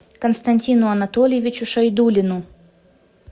константину анатольевичу шайдуллину